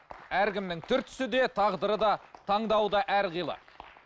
әркімнің түр түсі де тағдыры да таңдауы да әрқилы